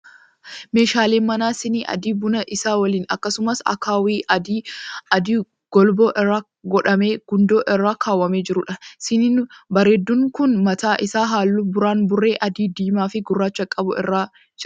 Meeshaalee manaa sinii adii buna isaa waliin akkasumas akkaawwii adii golboo irraa godhamee gundoo irra kaawwamee jiruudha. Siniin bareedduun kun baataa isaa halluu buraan burree adii, diimaa fi gurraacha qabu irra jirra.